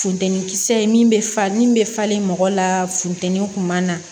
Funtɛnin kisɛ ye min bɛ fa min bɛ falen mɔgɔ la funtɛni kuma na